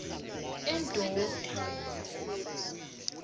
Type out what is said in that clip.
endoda